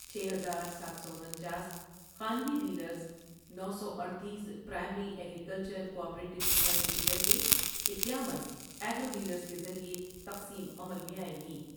چھ ہزار سات سو انچاس خانگی ڈیلرس نو سو اڈتیس پرائمری اگریکلچرکوآپریٹیو سوسائٹی کے ذریعہ اکیاون آ گروڈیلرس کے ذریعہ تقسیم عمل میں آۓ گی ۔